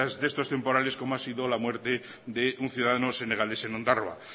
de estos temporales como ha sido la muerte de un ciudadano senegalés en ondarroa